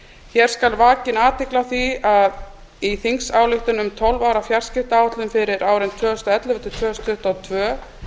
hér skal vakin athygli á því að í þingsályktun um tólf ára fjarskiptaáætlun fyrir árin tvö þúsund og ellefu til tvö þúsund tuttugu og tvö